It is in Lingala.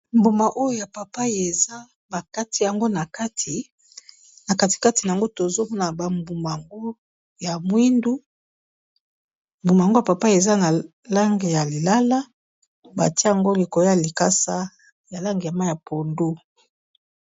Mbuma oyo ya pai pai eza ba kati yango na kati na kati kati nango tozo mona ba mbuma ngo ya mwindu, mbuma yango ya pai pai eza na langi ya lilala, batie yango likolo ya likasa ya langi ya mayi ya pondu.